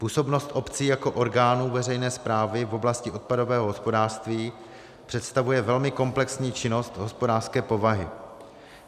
Působnost obcí jako orgánu veřejné správy v oblasti odpadového hospodářství představuje velmi komplexní činnost hospodářské povahy.